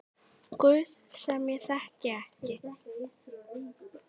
Guð sem ég þekki ekki.